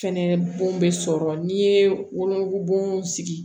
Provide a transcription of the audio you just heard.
Fɛnɛ bon bɛ sɔrɔ n'i ye wolonugu sigi